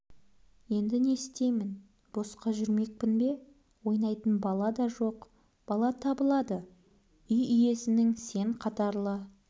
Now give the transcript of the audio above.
енді не істеймін босқа жүрмекпін бе ойнайтын бала да жоқ бала табылады үй иесінің сен қатарлы